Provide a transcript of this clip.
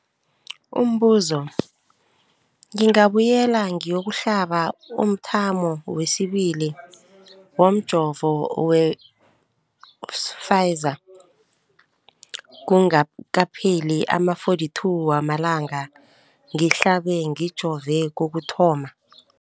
Umbuzo, ngingabuyela ngiyokuhlaba umthamo wesibili womjovo we-Pfizer kungakapheli ama-42 wamalanga ngihlabe, ngijove kokuthoma.